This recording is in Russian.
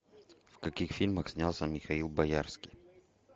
в каких фильмах снялся михаил боярский